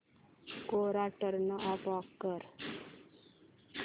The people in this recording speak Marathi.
कोरा टर्न ऑफ कर